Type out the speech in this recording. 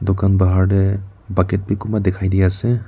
dukan bahar tey bucket bi kunba dekhai de ase.